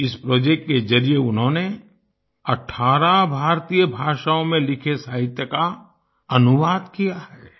इस प्रोजेक्ट के जरिए उन्होंने 18 भारतीय भाषाओं में लिखे साहित्य का अनुवाद किया है